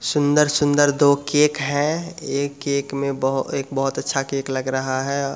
सुंदर-सुंदर दो केक है एक केक में एक बहुत अच्छा केक लग रहा है।